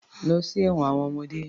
Lọ sí ẹ̀wọn àwọn ọmọdé.